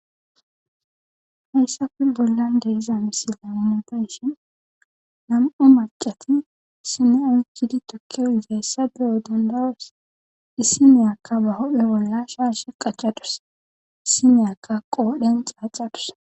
hayssaku bollan geiza misila unapenshin nam7u macati sinaw kidi tokkiyo izayssa beyo dandaros issi meyakka ba hophe wolla shaash qacadus issi meyakka qoodhen xaaxadus